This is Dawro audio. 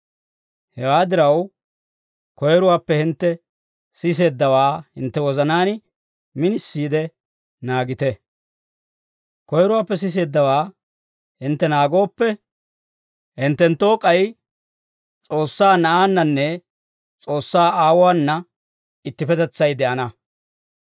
Hewaa diraw, koyiruwaappe hintte siseeddawaa hintte wozanaan minisiide naagite. Koyiruwaappe siseeddawaa hintte naagooppe, hinttenttoo k'ay S'oossaa Na'aannanne S'oossaa Aawuwaana ittippetetsay de'ana.